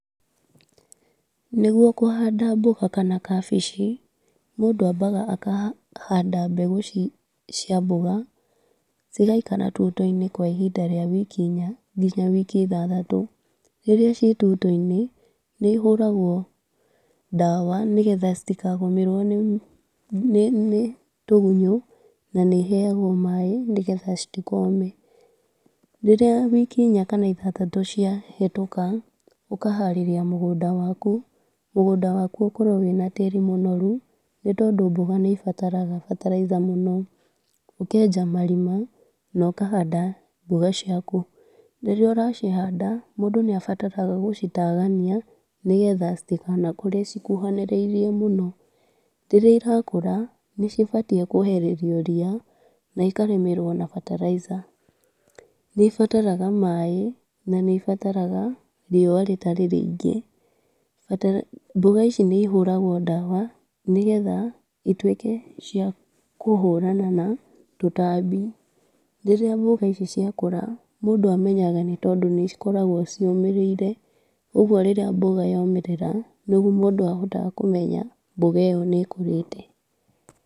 Nĩgũo kũhanda mboga kana kabici, mũndũ ambaga akahanda mbegũ ci cia mboga, cigaikara tuto-inĩ kwa ihinda rĩa wiki inya nginya wiki ithathatũ. Rĩrĩa ci tuto-inĩ nĩihũragwo ndawa, nĩgetha citikagũmĩrwo nĩ nĩ tũgunyũ na nĩ iheagwo maĩ, nĩgetha citikome, rĩrĩa wiki inya kana ithathatũ ciahĩtũka ũkaharĩria mũgũnda waku. Mũgũnda waku ũkorwo wĩna tĩri mũnorũ, nĩ tondũ mboga nĩibataraga fertilizer mũno, ũkenja marima na ũkahanda mboga ciaku. Rĩrĩa ũracihanda, mũndũ nĩabataraga gũcitagania, nĩgetha citikanakũre cikũhanĩrĩirie mũno. Rĩrĩa ĩrakũra nĩcibatiĩ kwehererio ria na ikarĩmĩrwo na fertilizer, nĩibataraga maĩ na nĩibataraga rĩũa rĩtarĩ rĩingĩ. Mboga ici nĩihũragwo ndawa, nĩgetha itwĩke ciakũhũrana na tũtambi. Rĩrĩa mboga ici ciakũra mũndũ amenyaga nĩ tondũ nĩcikoragwo ciũmĩrĩire, ũguo rĩrĩa mboga yomĩrĩra nĩguo mũndũ ahotaga kũmenya mboga iyo nĩkũrĩte.